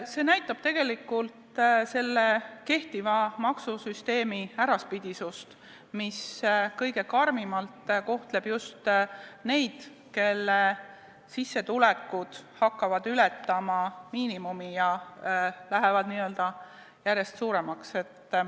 See näitab tegelikult kehtiva maksusüsteemi äraspidisust, mis kõige karmimalt kohtleb just neid, kelle sissetulekud hakkavad ületama miinimumi ja lähevad järjest suuremaks.